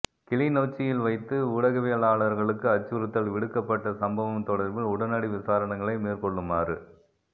கிளிநொச்சியில் வைத்து ஊடகவியலாளர்களுக்கு அச்சுறுத்தல் விடுக்கப்பட்ட சம்பவம் தொடர்பில் உடனடி விசாரணைகளை மேற்கொள்ளுமாறு